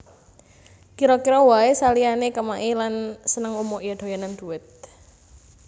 Kira kira wae saliyane kemaki lan seneng umuk ya doyanan dhuwit